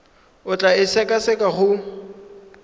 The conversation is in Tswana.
o tla e sekaseka go